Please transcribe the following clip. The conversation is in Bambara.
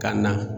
Ka na